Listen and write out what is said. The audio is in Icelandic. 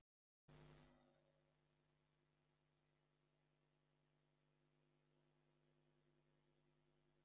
Er meiri spenna fyrir leiki gegn ÍR en leiki gegn öðrum liðum í deildinni?